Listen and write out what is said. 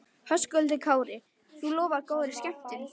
Höskuldur Kári: Þú lofar góðri skemmtun?